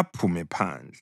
aphume phandle.”